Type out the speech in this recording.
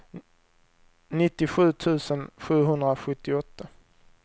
nittiosju tusen sjuhundrasjuttioåtta